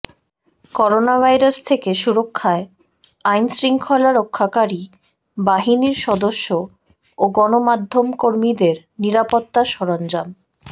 coronavirus থেকে সুরক্ষায় আইনশৃঙ্খলা রক্ষাকারী বাহিনীর সদস্য ও গণমাধ্যমকর্মীদের নিরাপত্তা সরঞ্জাম